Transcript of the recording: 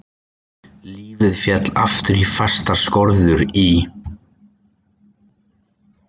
Lífið féll aftur í fastar skorður í